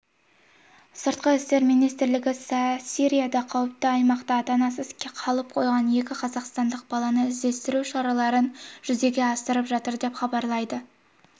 сыртқы істер министрлігі сирияда қауіпті аймақта ата-анасыз қалып қойған екі қазақстандық баланы іздестіру шараларын жүзеге асырап жатыр деп хабарлайды